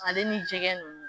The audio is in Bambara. Ale ni jɛgɛ ninnu